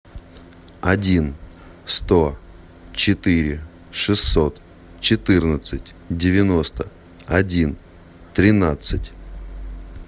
один сто четыре шестьсот четырнадцать девяносто один тринадцать